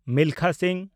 Milkha Singh